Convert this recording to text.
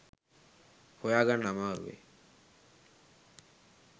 හොයාගන්න අමාරු වෙයි